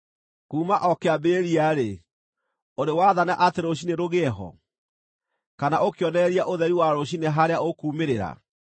“Kuuma o kĩambĩrĩria-rĩ, ũrĩ waathana atĩ rũciinĩ rũgĩe ho, kana ũkĩonereria ũtheri wa rũciinĩ harĩa ũkuumĩrĩra,